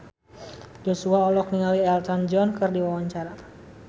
Joshua olohok ningali Elton John keur diwawancara